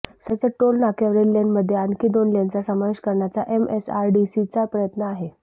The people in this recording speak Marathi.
सध्याच्या टोल नाक्यावरील लेनमध्ये आणखी दोन लेनचा समावेश करण्याचा एमएसआरडीसीचा प्रयत्न आहे